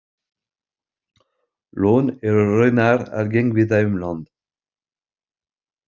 Lón eru raunar algeng víða um land.